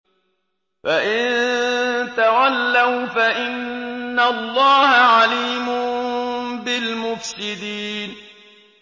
فَإِن تَوَلَّوْا فَإِنَّ اللَّهَ عَلِيمٌ بِالْمُفْسِدِينَ